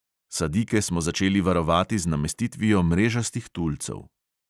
Sadike smo začeli varovati z namestitvijo mrežastih tulcev.